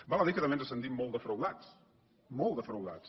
val a dir que també ens sentim molt defraudats molt defraudats